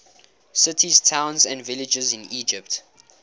cities towns and villages in egypt